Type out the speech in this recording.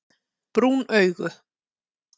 Brún augu